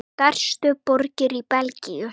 Stærstu borgir í Belgíu